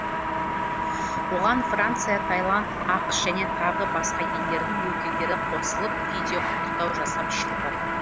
оған франция таиланд ақш және тағы басқа елдердің өкілдері қосылып видео құттықтау жасап шықты